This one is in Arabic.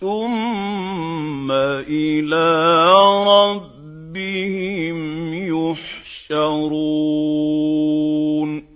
ثُمَّ إِلَىٰ رَبِّهِمْ يُحْشَرُونَ